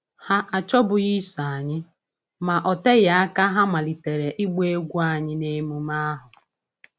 Ha achọbughị iso anyị, ma ọ oteghi aka ha a malite ịgba egwú anyị n’emume ahụ.